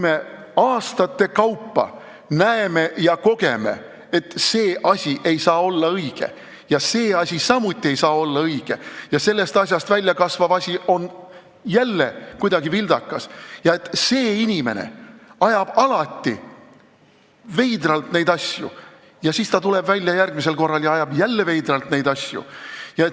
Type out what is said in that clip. Me aastate kaupa näeme ja kogeme, et see asi ei saa olla õige ja see asi ei saa samuti olla õige ja sellest asjast väljakasvav asi on jälle kuidagi vildakas ja see inimene ajab alati veidralt neid asju ja siis ta tuleb järgmisel korral ja ajab neid asju jälle veidralt.